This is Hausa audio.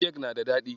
Kek na da daɗi.